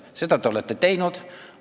Seda te olete teinud.